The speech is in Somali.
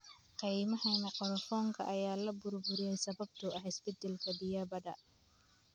Kaymaha mangroovka ayaa la burburiyay sababtoo ah isbeddelka biyaha badda.